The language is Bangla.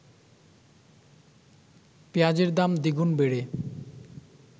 পেঁয়াজের দাম দ্বিগুণ বেড়ে